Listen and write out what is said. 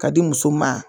Ka di muso ma